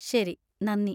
ശരി, നന്ദി.